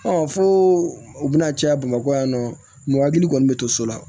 fo u bɛna caya bamakɔ yan nɔ mɔgɔ hakili kɔni bɛ to so la